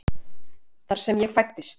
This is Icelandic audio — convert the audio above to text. Þar sem ég fæddist.